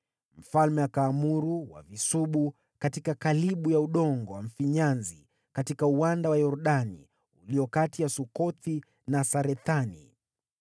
Mfalme akaamuru wavisubu katika kalibu ya udongo wa mfinyanzi katika uwanda wa Yordani ulio kati ya Sukothi na Sarethani.